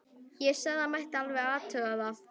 Ég sagði að það mætti alveg athuga það.